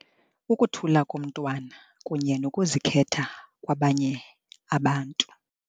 Ukuthula komntwana kunye nokuzikhetha kwabanye abantu.